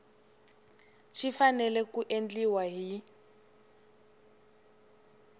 xi fanele ku endliwa hi